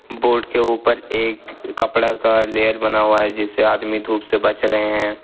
Boat के ऊपर एक कपड़ा का लेयर बना हुआ है जिससे आदमी धूप से बच रहे है।